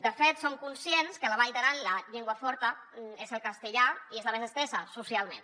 de fet som conscients que a la vall d’aran la llengua forta és el castellà i és la més estesa socialment